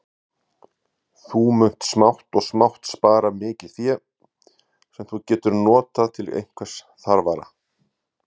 Þú munt smátt og smátt spara mikið fé, sem þú getur notað til einhvers þarfara.